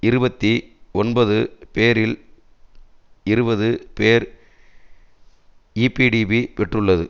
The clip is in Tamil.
இருபத்தி ஒன்பது பேரில் இருபது பேர் ஈபிடிபி பெற்றுள்ளது